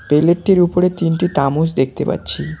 পেলেটটির উপরে তিনটি তামোচ দেখতে পাচ্ছি।